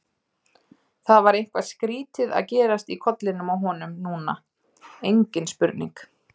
Það var eitthvað skrýtið að gerast í kollinum á honum núna, engin spurning.